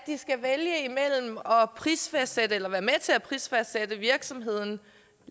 prisfastsætte eller være med til at prisfastsætte virksomheden